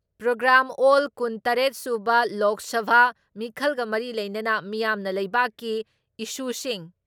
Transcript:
programme ꯑꯣꯜ ꯀꯨꯟ ꯇꯔꯦꯠ ꯁꯨꯕ ꯂꯣꯛ ꯁꯚꯥ ꯃꯤꯈꯜꯒ ꯃꯔꯤ ꯂꯩꯅꯅ ꯃꯤꯌꯥꯝꯅ ꯂꯩꯕꯛꯀꯤ ꯏꯁꯨꯁꯤꯡ,